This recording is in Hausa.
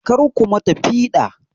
Karku ma ta piɗa!